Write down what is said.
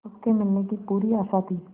उसके मिलने की पूरी आशा थी